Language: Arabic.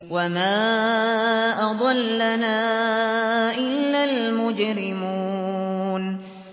وَمَا أَضَلَّنَا إِلَّا الْمُجْرِمُونَ